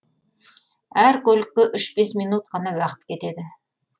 әр көлікке үш бес минут қана уақыт кетеді